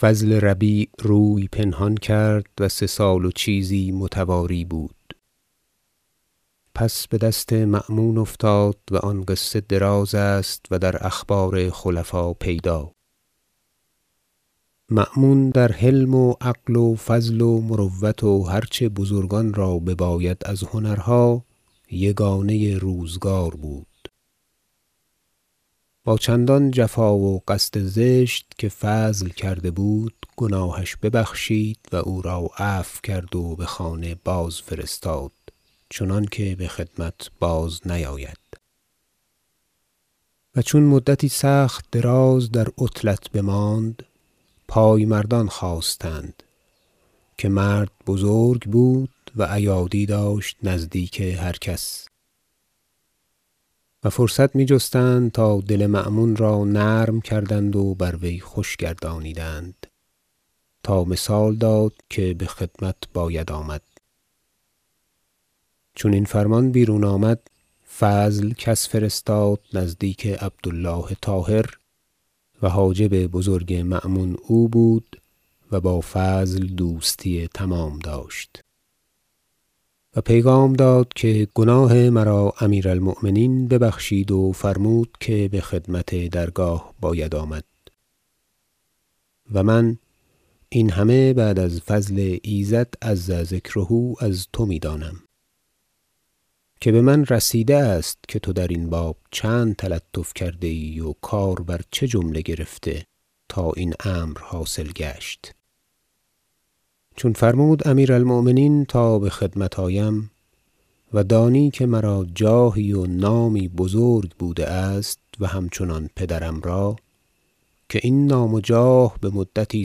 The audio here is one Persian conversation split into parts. فضل ربیع روی پنهان کرد و سه سال و چیزی متواری بود پس به دست مأمون افتاد و آن قصه دراز است و در اخبار خلفا پیدا مأمون در حلم و عقل و فضل و مروت و هرچه بزرگان را بباید از هنرها یگانه روزگار بود با چندان جفا و قصد زشت که فضل کرده بود گناهش ببخشید و او را عفو کرد و به خانه بازفرستاد چنانکه به خدمت بازنیاید و چون مدتی سخت دراز در عطلت بماند پایمردان خاستند که مرد بزرگ بود و ایادی داشت نزدیک هر کس و فرصت می جستند تا دل مأمون را نرم کردند و بر وی خوش گردانیدند تا مثال داد که به خدمت باید آمد چون این فرمان بیرون آمد فضل کس فرستاد نزدیک عبدالله طاهر -و حاجب بزرگ مأمون او بود و با فضل دوستی تمام داشت- و پیغام داد که گناه مرا امیر المؤمنین ببخشید و فرمود که به خدمت درگاه باید آمد و من این همه بعد از فضل ایزد -عز ذکره- از تو می دانم که به من رسیده است که تو در این باب چند تلطف کرده ای و کار بر چه جمله گرفته تا این امر حاصل گشت چون فرمود امیر المؤمنین تا به خدمت آیم -و دانی که مرا جاهی و نامی بزرگ بوده است و همچنان پدرم را که این نام و جاه به مدتی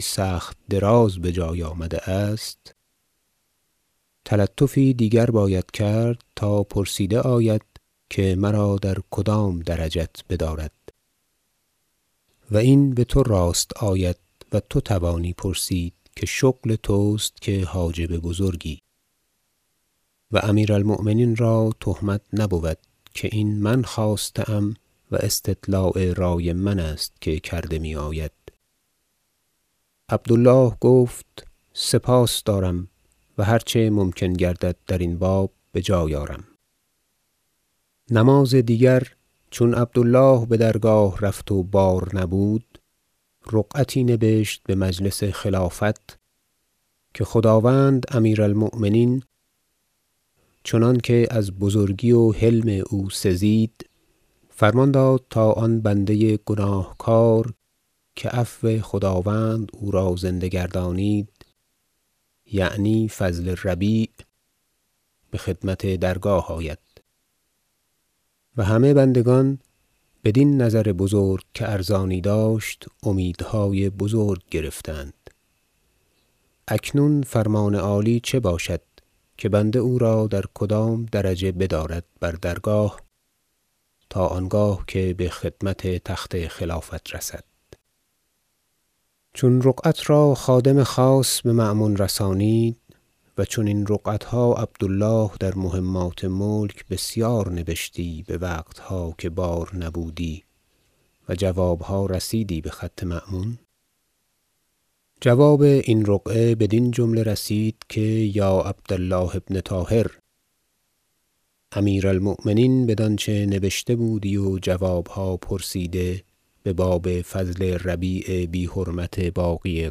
سخت دراز به جای آمده است - تلطفی دیگر باید کرد تا پرسیده آید که مرا در کدام درجت بدارد و این به تو راست آید و تو توانی پرسید که شغل توست که حاجب بزرگی و امیر المؤمنین را تهمت نبود که این من خواسته ام و استطلاع رأی من است که کرده می آید عبدالله گفت سپاس دارم و هرچه ممکن گردد در این باب به جای آرم نماز دیگر چون عبدالله به درگاه رفت و بار نبود رقعتی نبشت به مجلس خلافت که خداوند امیر المؤمنین چنانکه از بزرگی و حلم او سزید فرمان داد تا آن بنده گناهکار که عفو خداوند او را زنده گردانید یعنی فضل ربیع به خدمت درگاه آید و همه بندگان بدین نظر بزرگ که ارزانی داشت امیدهای بزرگ گرفتند اکنون فرمان عالی چه باشد که بنده او را در کدام درجه بدارد بر درگاه تا آنگاه که به خدمت تخت خلافت رسد چون رقعت را خادم خاص به مأمون رسانید -و چنین رقعتها عبدالله در مهمات ملک بسیار نبشتی به وقتها که بار نبودی و جوابها رسیدی به خط مأمون- جواب این رقعه بدین جمله رسید که یا عبدالله بن طاهر امیر المؤمنین بدانچه نبشته بودی و جوابها پرسیده به باب فضل ربیع بی حرمت باغی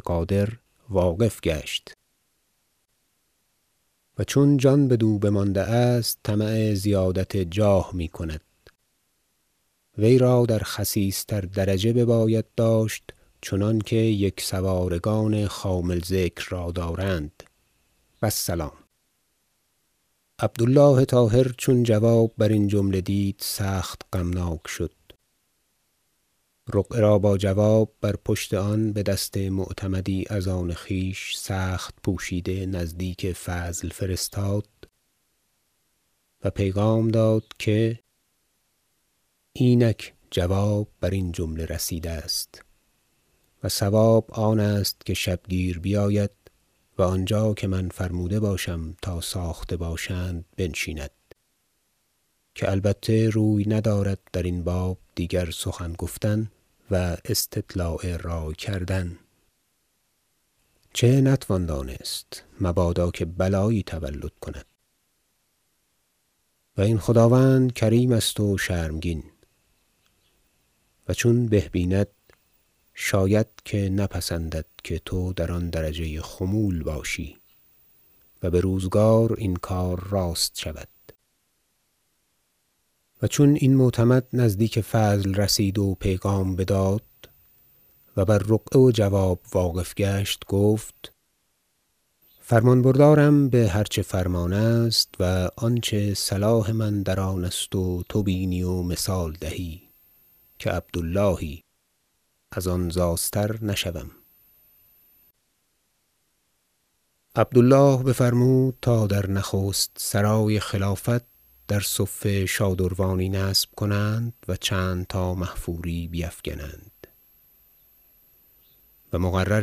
غادر واقف گشت و چون جان بدو بمانده است طمع زیادت جاه می کند وی را در خسیس تر درجه بباید داشت چنانکه یک سوارگان خامل ذکر را دارند و السلام عبدالله طاهر چون جواب برین جمله دید سخت غمناک شد رقعه را با جواب بر پشت آن به دست معتمدی از آن خویش سخت پوشیده نزدیک فضل فرستاد و پیغام داد که اینک جواب بر این جمله رسیده است و صواب آنست که شبگیر بیاید و آنجا که من فرموده باشم تا ساخته باشند بنشیند که البته روی ندارد در این باب دیگر سخن گفتن و استطلاع رای کردن چه نتوان دانست مبادا که بلایی تولد کند و این خداوند کریم است و شرمگین و چون به بیند شاید که نپسندد که تو در آن درجه خمول باشی و به روزگار این کار راست شود و چون این معتمد نزدیک فضل رسید و پیغام بداد و بر رقعه و جواب واقف گشت گفت فرمان بردارم به هر چه فرمان است و آنچه صلاح من در آن است و تو بینی و مثال دهی که عبداللهی از آن زاستر نشوم عبدالله بفرمود تا در نخست سرای خلافت در صفه شادروانی نصب کنند و چند تا محفوری بیفگنند و مقرر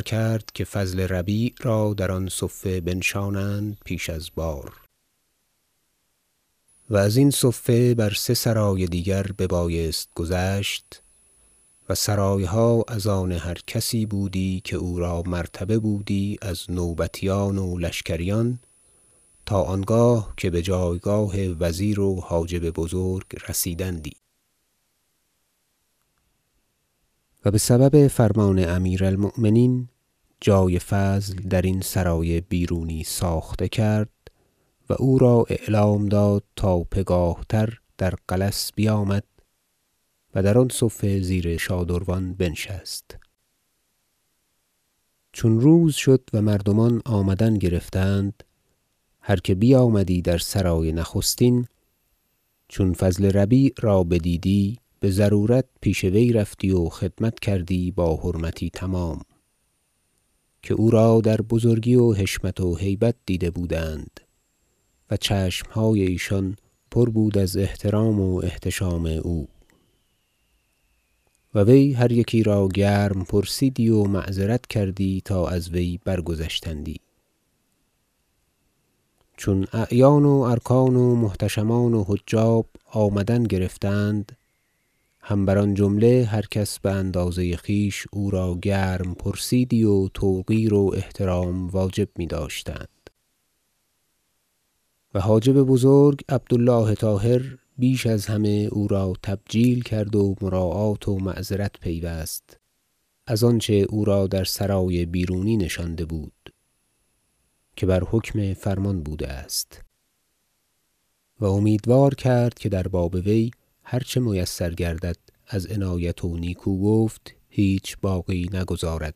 کرد که فضل ربیع را در آن صفه بنشانند پیش از بار و از این صفه بر سه سرای دیگر ببایست گذشت و سرایها از آن هر کسی بود که او را مرتبه بودی از نوبتیان و لشکریان تا آنگاه که به جایگاه وزیر و حاجب بزرگ رسیدندی و به سبب فرمان امیر المؤمنین جای فضل در این سرای بیرونی ساخته کرد و او را اعلام داد تا پگاه تر در غلس بیامد و در آن صفه زیر شادروان بنشست چون روز شد و مردمان آمدن گرفتند هر که بیامدی در سرای نخستین چون فضل ربیع را بدیدی بضرورت پیش وی رفتی و خدمت کردی با حرمتی تمام که او را در بزرگی و حشمت و هیبت دیده بودند و چشمهای ایشان پر بود از احترام و احتشام او و وی هر یکی را گرم پرسیدی و معذرت کردی تا از وی برگذشتندی چون اعیان و ارکان و محتشمان و حجاب آمدن گرفتند هم بر آن جمله هر کس به اندازه خویش او را گرم پرسیدی و توقیر و احترام واجب می داشتند و حاجب بزرگ عبدالله طاهر بیش از همه او را تبجیل کرد و مراعات و معذرت پیوست از آنچه او را در سرای بیرونی نشانده بود که بر حکم فرمان بوده است و امیدوار کرد که در باب وی هر چه میسر گردد از عنایت و نیکوگفت هیچ باقی نگذارد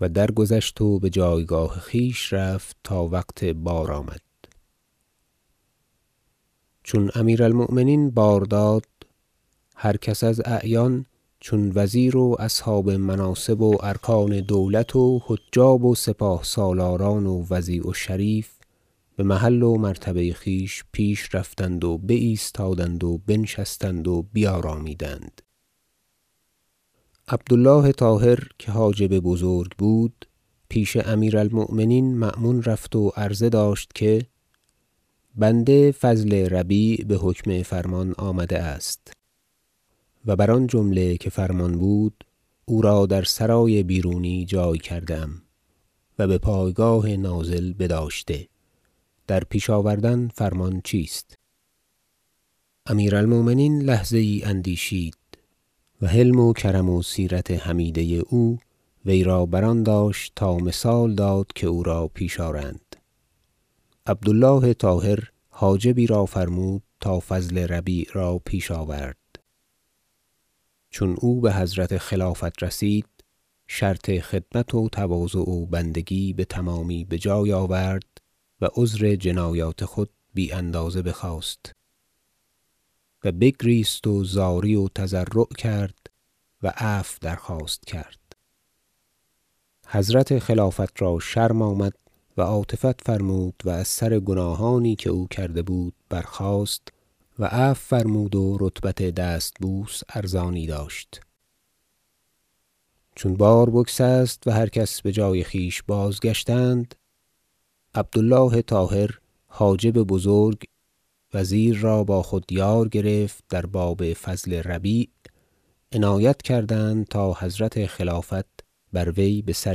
و درگذشت و به جایگاه خویش رفت تا وقت بار آمد چون امیر المؤمنین بار داد هر کس از اعیان چون وزیر و اصحاب مناصب و ارکان دولت و حجاب و سپاه سالاران و وضیع و شریف به محل و مرتبه خویش پیش رفتند و بایستادند و بنشستند و بیارامیدند عبدالله طاهر که حاجب بزرگ بود پیش امیر المؤمنین مأمون رفت و عرضه داشت که بنده فضل ربیع به حکم فرمان آمده است و بر آن جمله که فرمان بود او را در سرای بیرونی جای کرده ام و به پایگاه نازل بداشته در پیش آوردن فرمان چیست امیر المؤمنین لحظه یی اندیشید و حلم و کرم و سیرت حمیده او وی را بر آن داشت تا مثال داد که او را پیش آرند عبدالله طاهر حاجبی را فرمود تا فضل ربیع را پیش آورد چون او به حضرت خلافت رسید شرط خدمت و تواضع و بندگی بتمامی به جای آورد و عذر جنایات خود بی اندازه بخواست و بگریست و زاری و تضرع کرد و عفو درخواست کرد حضرت خلافت را شرم آمد و عاطفت فرمود و از سر گناهانی که او کرده بود برخاست و عفو فرمود و رتبت دست بوس ارزانی داشت چون بار بگسست و هر کس به جای خویش بازگشتند عبدالله طاهر حاجب بزرگ وزیر را با خود یار گرفت در باب فضل ربیع عنایت کردند تا حضرت خلافت بر وی به سر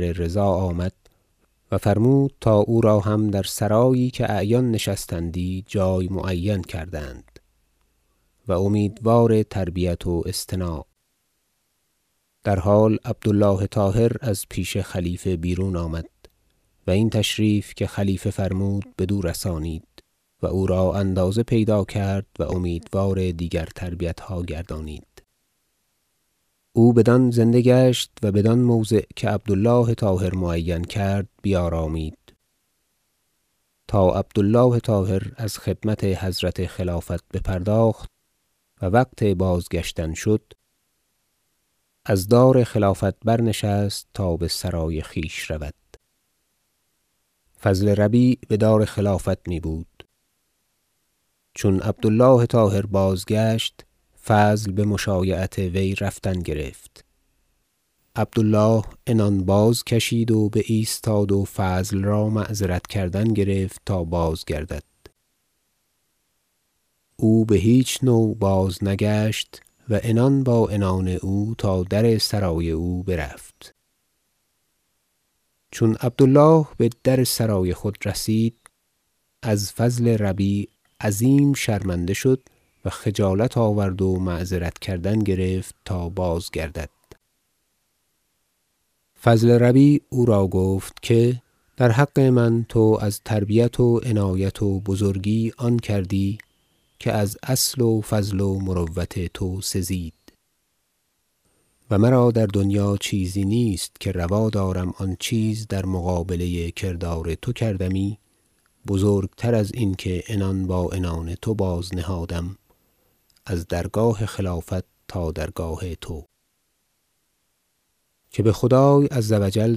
رضا آمد و فرمود تا او را هم در سرایی که اعیان نشستندی جای معین کردند و امیدوار تربیت و اصطناع در حال عبدالله طاهر از پیش خلیفه بیرون آمد و این تشریف که خلیفه فرمود بدو رسانید و او را اندازه پیدا کرد و امیدوار دیگر تربیتها گردانید او بدان زنده گشت و بدان موضع که عبدالله طاهر معین کرد بیارامید تا عبدالله طاهر از خدمت حضرت خلافت بپرداخت و وقت بازگشتن شد از دار خلافت برنشست تا به سرای خویش رود فضل ربیع به دار خلافت می بود چون عبدالله طاهر بازگشت فضل به مشایعت وی رفتن گرفت عبدالله عنان بازکشید و بایستاد و فضل را معذرت کردن گرفت تا بازگردد او به هیچ نوع بازنگشت و عنان با عنان او تا در سرای او برفت چون عبدالله به در سرای خود رسید از فضل ربیع عظیم شرمنده شد و خجالت آورد و معذرت کردن گرفت تا بازگردد فضل ربیع او را گفت که در حق من تو از تربیت و عنایت و بزرگی آن کردی که از اصل و فضل و مروت تو سزید و مرا در دنیا چیزی نیست که روا دارم که آن چیز در مقابله کردار تو کردمی بزرگتر از این که عنان با عنان تو بازنهادم از درگاه خلافت تا درگاه تو که به خدای -عز و جل-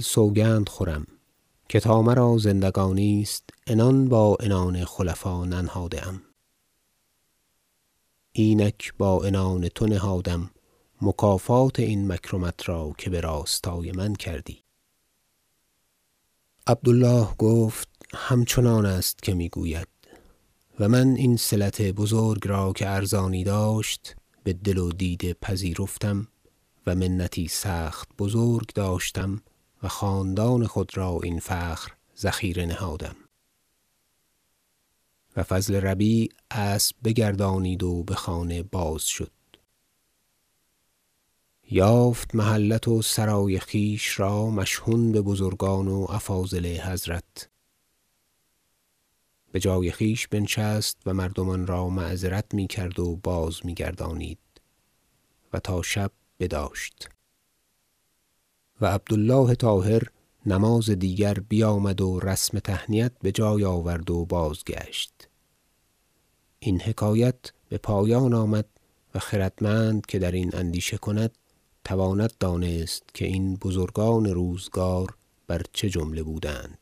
سوگند خورم که تا مرا زندگانی است عنان با عنان خلفا ننهاده ام اینک با عنان تو نهادم مکافات این مکرمت را که به راستای من کردی عبدالله گفت همچنان است که می گوید و من این صلت بزرگ را که ارزانی داشت به دل و دیده پذیرفتم و منتی سخت بزرگ داشتم و خاندان خود را این فخر ذخیره نهادم و فضل ربیع اسب بگردانید و به خانه بازشد یافت محلت و سرای خویش را مشحون به بزرگان و افاضل حضرت به جای خویش بنشست و مردمان را معذرت می کرد و باز می گردانید و تا شب بداشت و عبدالله طاهر نماز دیگر بیامد و رسم تهنیت به جای آورد و بازگشت این حکایت به پایان آمد و خردمند که در این اندیشه کند تواند دانست که این بزرگان روزگار بر چه جمله بودند